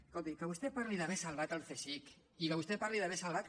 escolti que vostè parli d’haver salvat el csic i que vostè parli d’haver salvat